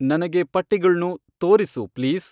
ನನಗೆ ಪಟ್ಟಿಗಳ್ನು ತೋರಿಸು ಪ್ಲೀಸ್